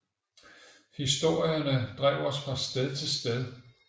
Historierne drev os fra sted til sted